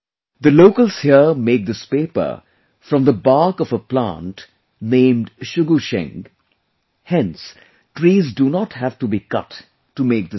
The locals here make this paper from the bark of a plant named Shugu Sheng, hence trees do not have to be cut to make this paper